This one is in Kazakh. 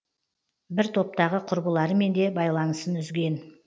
бір топтағы құрбыларымен де байланысын үзген